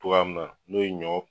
Togoya mun na n'o ye ɲɔ